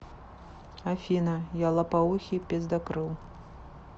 афина я лопоухий пиздакрыл